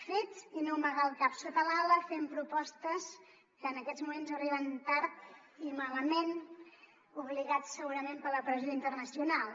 fets i no amagar el cap sota l’ala fent propostes que en aquests moments arriben tard i malament obligades segurament per la pressió internacional